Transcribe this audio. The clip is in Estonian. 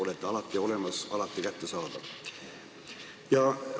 Olete alati olemas, alati kättesaadav!